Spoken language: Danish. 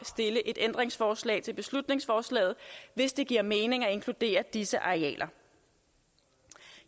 stille et ændringsforslag til beslutningsforslaget hvis det giver mening at inkludere disse arealer jeg